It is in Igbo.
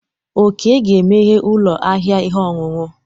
Oke ga-emeghe ụlọ ahịa ihe ọṅụṅụ.